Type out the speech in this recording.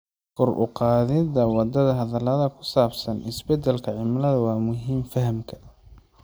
Kor u qaadida wada hadallada ku saabsan isbedelka cimilada waa muhiim fahamka.